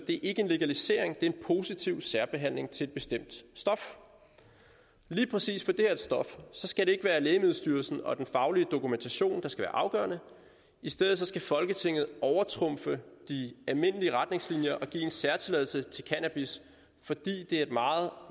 ikke en legalisering det er en positiv særbehandling af et bestemt stof lige præcis for det her stof skal det ikke være lægemiddelstyrelsen og den faglige dokumentation der skal være afgørende i stedet skal folketinget overtrumfe de almindelige retningslinjer og give en særtilladelse til cannabis fordi det er et meget